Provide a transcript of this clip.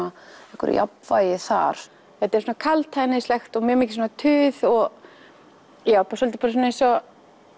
einhverju jafnvægi þar þetta er svona kaldhæðnislegt og mjög mikið svona tuð og já svolítið bara svona eins og